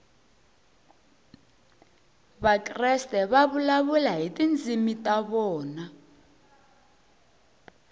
vakreste va vulavula hi tindzimi ta vona